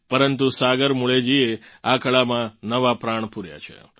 પરંતુ સાગર મુલેજીએ આ કળામાં નવા પ્રાણ પૂર્યા છે